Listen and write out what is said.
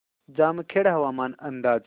जामखेड हवामान अंदाज